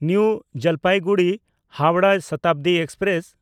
new ᱡᱚᱞᱯᱟᱭᱜᱩᱲᱤ–ᱦᱟᱣᱲᱟᱦ Shatabdi express